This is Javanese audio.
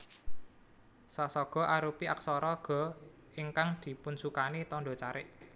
Sa saga arupi aksara Ga ingkang dipunsukani tandha carik